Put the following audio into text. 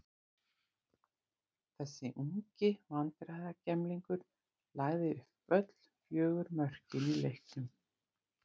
Þessi ungi vandræðagemlingur lagði upp öll fjögur mörkin í leiknum.